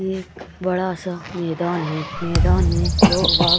एक बड़ा सा मैदान है मैदान में लोग --